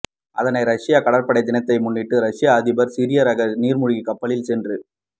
அதனை ரஷ்ய கப்பற்படை தினத்தை முன்னிட்டு ரஷ்ய அதிபர் சிறிய ரக நீர்மூழ்கி கப்பலில் சென்று